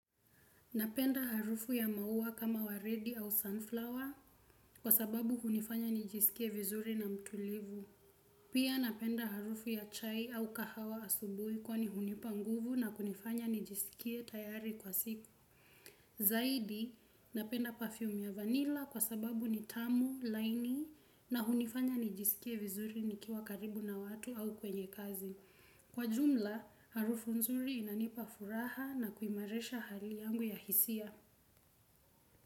Napenda harufu ya maua kama wa redi au sunflower kwa sababu hunifanya nijisikie vizuri na mtulivu. Pia napenda harufu ya chai au kahawa asubuhi kwani hunipa nguvu na kunifanya nijisikie tayari kwa siku. Zaidi, napenda perfume ya vanilla kwa sababu ni tamu, laini na hunifanya nijisikie vizuri nikiwa karibu na watu au kwenye kazi. Kwa jumla, harufu nzuri inanipa furaha na kuimarisha hali yangu ya hisia.